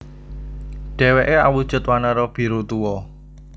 Dheweke awujud wanara biru tuwa